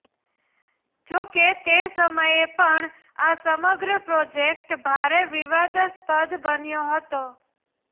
જોકે તે સમયે પણ આ સમગ્ર પ્રોજેકટ ભારે વિવાદાસ્પદ બન્યો હતો